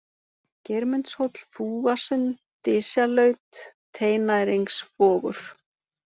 Geirmundshóll, Fúasund, Dysjalaut, Teinæringsvogur